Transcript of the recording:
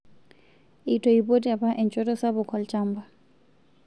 Eitoipotie apa enchoto sapuk olchamba